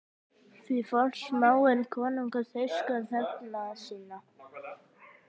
Því forsmáir konungur þýska þegna sína?